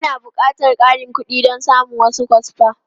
Ana buƙatar ƙarin kuɗi don samun wasu kwasfa.